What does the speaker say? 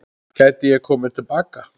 Gæti ég komið til baka?